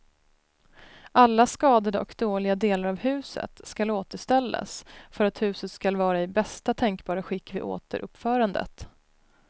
Alla skadade och dåliga delar av huset skall återställas för att huset skall vara i bästa tänkbara skick vid återuppförandet.